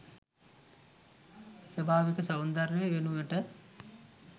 ස්වභාවික සෞන්දර්යය වෙනුවට